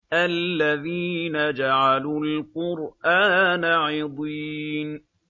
الَّذِينَ جَعَلُوا الْقُرْآنَ عِضِينَ